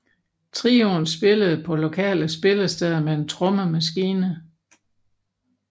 Trioen spillede på lokale spillesteder med en trommemaskine